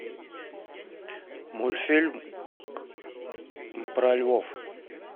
мультфильм про львов